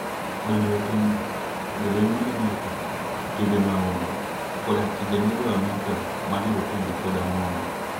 Donjo e pinyno, jolweny mag Amerka, timbe mahundu, koda tije ne jo Amerka ma jorotenge koda mon.